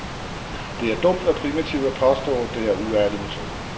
Det er dumt og primitivt at påstå, det er uærlige metoder.